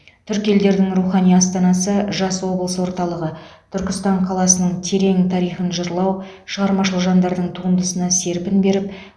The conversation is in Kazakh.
түркі елдерінің рухани астанасы жас облыс орталығы түркістан қаласының терең тарихын жырлау шығармашыл жандардың туындысына серпін беріп